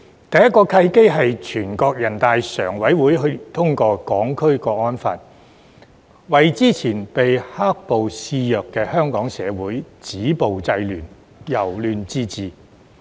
第一個契機是全國人大常委會去年通過《香港國安法》，為之前被"黑暴"肆虐的香港社會止暴制亂、由亂至治。